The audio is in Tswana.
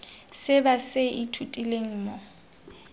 se ba se ithutileng mo